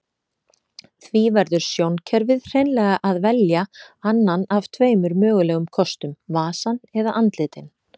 Því verður sjónkerfið hreinlega að velja annan af tveimur mögulegum kostum, vasann eða andlitin.